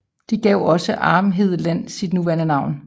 De gav også Arnhem Land sit nuværende navn